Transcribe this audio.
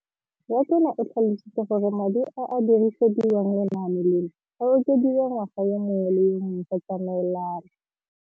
Rakwena o tlhalositse gore madi a a dirisediwang lenaane leno a okediwa ngwaga yo mongwe le yo mongwe go tsamaelana le.